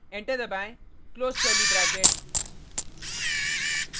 enter दबाएँ close curly bracket